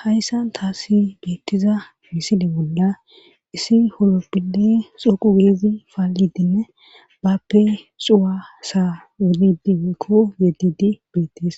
hayssan taasi beettiza miside bolla issi holoppile xoqu geezi faallidinne bappe xuwa sa wudidi weekko gedidi beettees